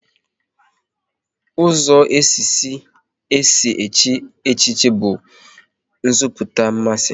Ụzọ izizi e si echi echichi bụ nziputa mmasị